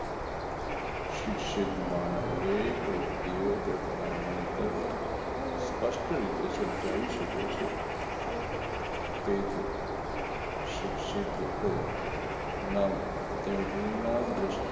શિક્ષિત માં ના દરેક વ્યક્તિઓ તેમના મંતવ્ય સ્પષ્ટ રીતે સમજાવી શકે છે તેથી શિક્ષિત લોકો નામ તેમના